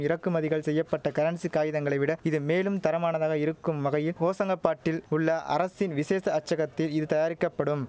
இறக்குமதிகள் செய்ய பட்ட கரன்சி காகிதங்களை விட இது மேலும் தரமானதாக இருக்கும் வகையில் ஹோஷங்கபாட்டில் உள்ள அரசின் விசேஷ அச்சகத்தி இது தயாரிக்கப்படும்